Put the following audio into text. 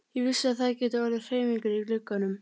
Ég vissi að það gætu orðið hreyfingar í glugganum.